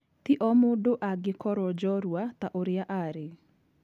Ti o mũndũ angĩkoro jorua ta ũria arĩ.